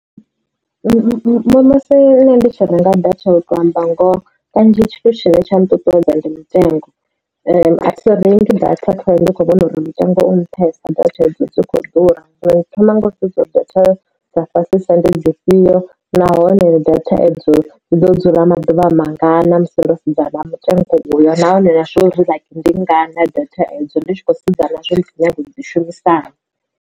Musi nṋe ndi tshi renga data u tou amba ngoho kanzhi tshithu tshine tsha nṱuṱuwedza ndi mutengo a thi rengeli muthu data ndi kho vhona uri mutengo u nṱhesa data hedzo dzi kho ḓura ri thoma ngau sedza dza fhasisa uri ndi dzi fhio nahone data edzo dzi ḓo dzula maḓuvha mangana musi ro sedza na mutengo uyo nahone nazwori ndingana data edzo ndi tshi khou sedza nazwo nyaga u dzi shumisana.